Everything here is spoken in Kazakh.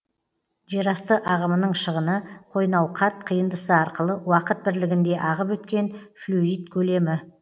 жерасты ағымының шығыны қойнауқат қиындысы арқылы уақыт бірлігінде ағып өткен флюид көлемі